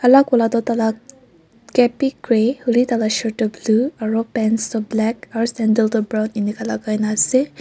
alag wala toh taila cap bi grey hoilebi tai la shirt toh blue aro pants toh black aro sandal toh brown inika lagai na ase.